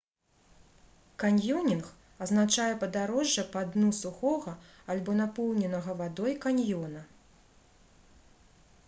каньёнінг азначае падарожжа па дну сухога альбо напоўненага вадой каньёна